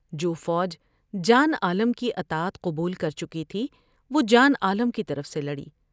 جو فوج جان عالم کی اطاعت قبول کر چکی تھی وہ جان عالم کی طرف سے لڑی ۔